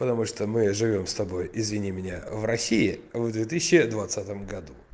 потому что мы живём с тобой извини меня в россии в две тысячи двадцатом году